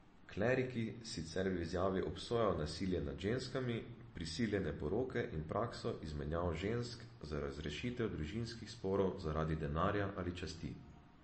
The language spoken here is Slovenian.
Kleriki sicer v izjavi obsojajo nasilje nad ženskami, prisiljene poroke in prakso izmenjave žensk za razrešitev družinskih sporov zaradi denarja ali časti.